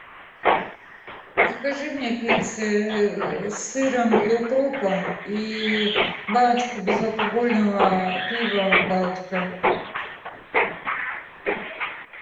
закажи мне пиццы с сыром и укропом и баночку безалкогольного пива балтика